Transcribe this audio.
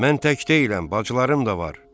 Mən tək deyiləm, bacılarım da var.